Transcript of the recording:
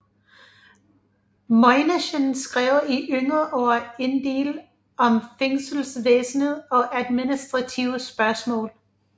Møinichen skrev i yngre år endel om fængselsvæsenet og administrative spørgsmål